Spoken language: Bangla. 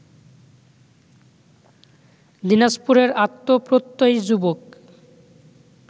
দিনাজপুরের আত্মপ্রত্যয়ী যুবক